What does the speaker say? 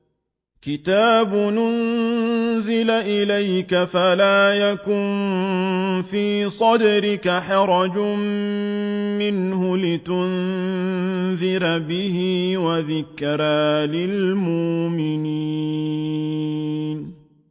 كِتَابٌ أُنزِلَ إِلَيْكَ فَلَا يَكُن فِي صَدْرِكَ حَرَجٌ مِّنْهُ لِتُنذِرَ بِهِ وَذِكْرَىٰ لِلْمُؤْمِنِينَ